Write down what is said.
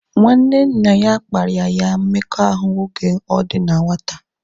Nwanne nna ya kparia ya mmekọahụ oge ọ dị na nwata